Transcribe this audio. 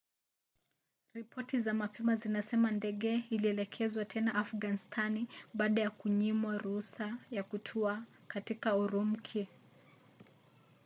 ripoti za mapema zinasema ndege ilielekezwa tena afganistani baada ya kunyimwa ruhusa ya kutua katika urumki